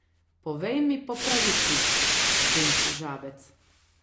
Povej mi po pravici, princ Žabec.